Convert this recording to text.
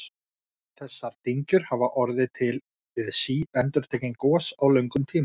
Þessar dyngjur hafa orðið til við síendurtekin gos á löngum tíma.